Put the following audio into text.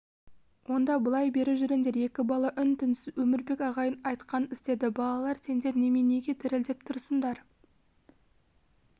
онда былай бері жүріңдер екі бала үн-түнсіз өмірбек ағайдың айтқанын істеді балалар сендер неменеге дірілдеп тұрсыңдар